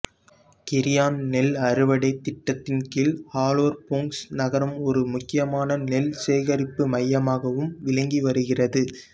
கிரியான் நெல் அறுவடைத் திட்டத்தின் கீழ் அலோர் பொங்சு நகரம் ஒரு முக்கியமான நெல் சேகரிப்பு மையமாகவும் விளங்கி வருகிறது